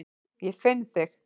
Ég finn þig.